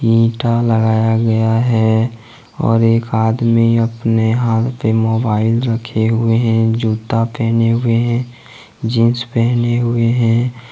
इन्टा लगाया गया है और एक आदमी अपने हाथ पे मोबाइल रखे हुए हैं जूता पहने हुए हैं जींस पहने हुए हैं।